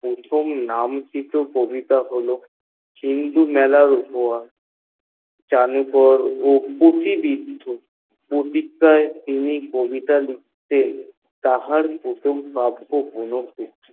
প্রথম নামাঙ্কিত কবিতা হল চিরদিনের উপহার তিনি কবিতা লিখতেন তাহার প্রথম কাব্য হল